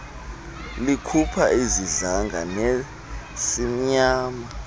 likhupha izidlanga nesimnyama